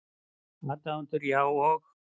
Aðdáendurnir, já, og?